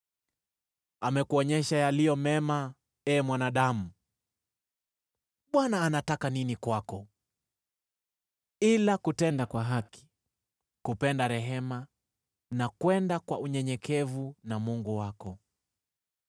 Amekuonyesha yaliyo mema, ee mwanadamu. Bwana anataka nini kwako? Ila kutenda kwa haki na kupenda rehema, na kwenda kwa unyenyekevu na Mungu wako.